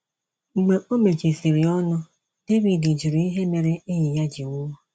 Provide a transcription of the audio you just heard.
Mgbe o mechisịrị ọnụ, David jụrụ ihe mere enyi ya ji nwụọ.